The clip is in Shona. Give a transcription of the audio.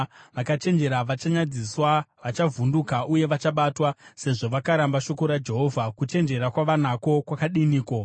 Vakachenjera vachanyadziswa, vachavhunduka uye vachabatwa. Sezvo vakaramba shoko raJehovha, kuchenjera kwavanako kwakadiniko?